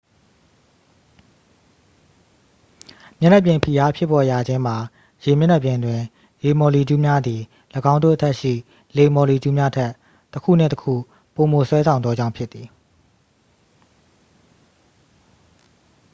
မျက်နှာပြင်ဖိအားဖြစ်ပေါ်ရခြင်းမှာ ရေမျက်နှာပြင်တွင် ရေမာ်လီကျူးများသည် ၎င်းတို့အထက်ရှိ လေမော်လီကျူးများထက် တစ်ခုနှင့် တစ်ခု ပိုမို ဆွဲဆောင်သောကြောင့်ဖြစ်သည်